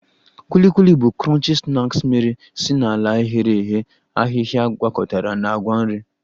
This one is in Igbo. Kuli Kuli bụ crunchy snacks mere si n'ala ghere eghe ahịhịa gwakọtara na ngwa nri